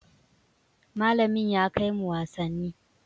Malamin ya kai mu wasanni.